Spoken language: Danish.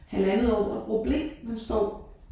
Halvandet år og bruger ble han står